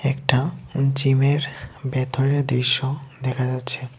এটা জিমের ভেতরের দৃশ্য দেখা যাচ্ছে।